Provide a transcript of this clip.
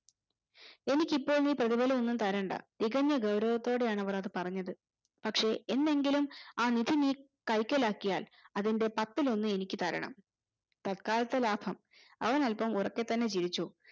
എനിക് ഇപ്പോഴൊന്നും നീ പ്രതിഫലമൊന്നും തരണ്ട തികഞ്ഞ ഗൗരവത്തോടേ ആണ് അവർ അത് പറഞ്ഞത് പക്ഷെ എന്നെങ്കിലും ആ നിധി നീ കൈക്കലാക്കിയാൽ അതിന്റെ പത്തിലൊന്നു എനിക്ക് തരണം തത്കാലത്തെ ലാഭം അവൻ അല്പം ഉറക്കെ തന്നെ ചിരിച്ചു